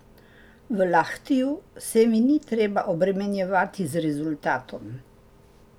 V Lahtiju se mi ni treba obremenjevati z rezultatom.